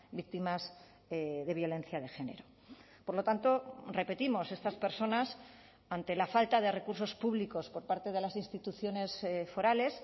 víctimas de violencia de género por lo tanto repetimos estas personas ante la falta de recursos públicos por parte de las instituciones forales